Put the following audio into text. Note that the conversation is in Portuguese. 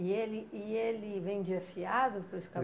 E ele e ele vendia fiado para os